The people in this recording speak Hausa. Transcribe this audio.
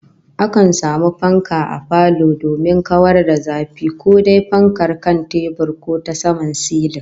Akan samu fanka a falo domin kawar da zafi, ko dai fankar kan tebur ko ta saman silin